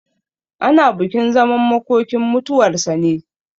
Ana bukin zaman makokinmutuwar sa ne.